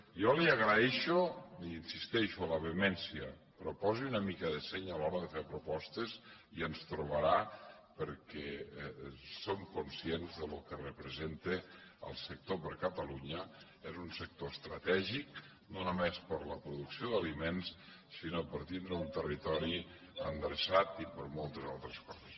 jo li agraeixo hi insisteixo la vehemència però posi una mica de seny a l’hora de fer propostes i ens trobarà perquè som conscients de lo que representa el sector per a catalunya és un sector estratègic no només per la producció d’aliments sinó per tindre un territori endreçat i per moltes altres coses